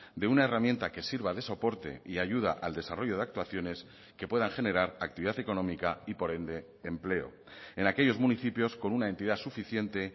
de una herramienta que sirva de soporte y ayuda al desarrollo de actuaciones que puedan generar actividad económica y por ende empleo en aquellos municipios con una entidad suficiente